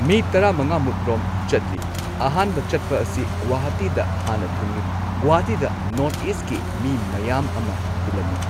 ꯃꯤ ꯇꯔꯥꯃꯉꯥꯃꯨꯛ ꯔꯣꯝ ꯆꯠꯂꯤ ꯑꯍꯥꯟꯕ ꯆꯠꯄ ꯑꯁꯤ ꯒꯨꯍꯥꯇꯤꯗ ꯍꯥꯟꯅ ꯊꯨꯡꯉꯤ꯫ ꯒꯨꯍꯥꯇꯤꯗ ꯅꯣꯔꯊ ꯏꯁꯀꯤ ꯃꯤ ꯃꯌꯥꯝ ꯑꯃ ꯇꯤꯜꯂꯝꯃꯤ꯫